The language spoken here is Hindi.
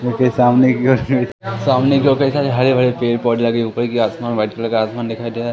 इसके सामने की ओर सामने की ओर कई सारे हरे भरे पेड़ पौधे लगे ऊपर की आसमान व्हाइट कलर का आसमान दिखाई दे रहा।